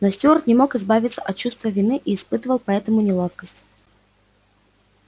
но стюарт не мог избавиться от чувства вины и испытывал поэтому неловкость